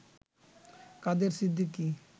Quader Siddiqui